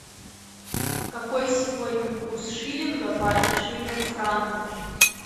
какой сегодня курс шиллинга по отношению к франку